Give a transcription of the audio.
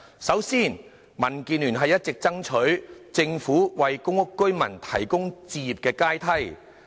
首先，民建聯一直爭取政府為公屋居民提供置業階梯。